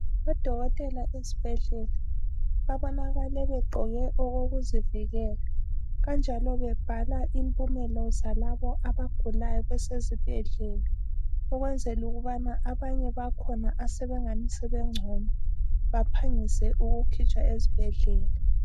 Odokotela esibhedlela babonakale begqoke okokuzivikela kanjalo bebhala impumela zalabo abagulayo besezibhedlela ukwenzela ukubana abanye abakhona asebengani sebengcono baphangise ukukhitshwa ezibhedlela.